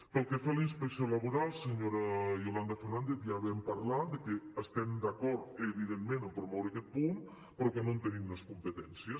pel que fa a la inspecció laboral senyora yolanda lópez ja vam parlar de que estem d’acord evidentment a promoure aquest punt però que no en tenim les competències